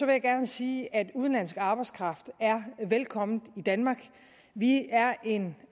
jeg gerne sige at udenlandsk arbejdskraft er velkommen i danmark vi er en